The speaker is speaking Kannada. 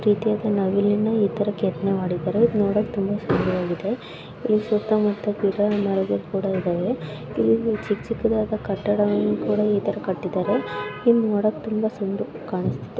ಒಂದ ರೀತಿಯಾದ ನವಿಲಿನ ಈ ತರ ಕೆತ್ತನೆ ಮಾಡಿದ್ದಾರೆ. ಇದು ನೋಡಕ್ ತುಂಬಾ ಸುಂದರವಾಗಿದೆ. ಇಲ್ ಸುತ್ತ ಮುತ್ತ ಗಿಡ ಮರಗಳು ಕೂಡ ಇದಾವೆ. ಇಲ್ಲಿ ಚಿಕ್ಕ ಚಿಕ್ಕದಾದ ಕಟ್ಟಡವನ್ನು ಕೂಡ ಈ ತರ ಕಟ್ಟಿದ್ದಾರೆ. ಇಲ್ ನೋಡಕ್ ತುಂಬ ಸುಂದ ಕಾಣಿಸ್ತ--